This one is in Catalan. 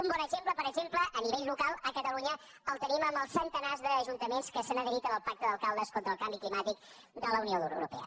un bon exemple per exemple a nivell local a catalunya el tenim en els centenars d’ajuntaments que s’han adherit al pacte d’alcaldes contra el canvi climàtic de la unió europea